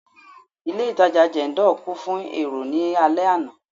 Ilé itàjà Jendol kún fún èrò ní alẹ àná.